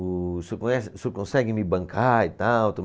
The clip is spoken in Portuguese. O senhor conhece, o senhor consegue me bancar e tal?